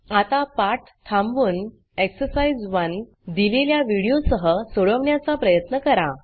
आता पाठ थांबवून एक्सरसाइज 1 दिलेल्या videoवीडियो सह सोडवण्याचा प्रयत्न करा